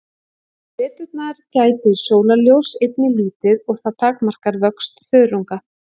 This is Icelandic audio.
Á veturna gætir sólarljóss einnig lítið og það takmarkar vöxt þörunga.